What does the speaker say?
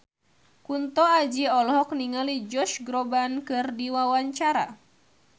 Kunto Aji olohok ningali Josh Groban keur diwawancara